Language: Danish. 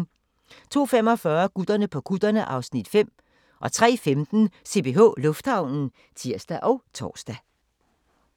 02:45: Gutterne på kutterne (Afs. 5) 03:15: CPH Lufthavnen (tir og tor)